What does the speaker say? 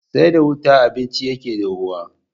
Sai da wuta abinci yake dahuwa